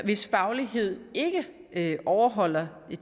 hvis faglighed ikke overholder